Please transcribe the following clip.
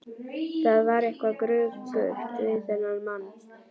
Það var eitthvað gruggugt við þennan mann.